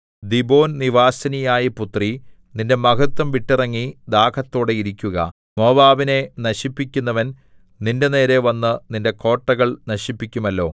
ദീബോൻനിവാസിനിയായ പുത്രീ നിന്റെ മഹത്വം വിട്ടിറങ്ങി ദാഹത്തോടെ ഇരിക്കുക മോവാബിനെ നശിപ്പിക്കുന്നവൻ നിന്റെനേരെ വന്ന് നിന്റെ കോട്ടകൾ നശിപ്പിക്കുമല്ലോ